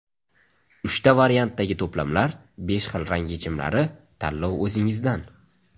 Uchta variantdagi to‘plamlar, besh xil rang yechimlari tanlov o‘zingizdan!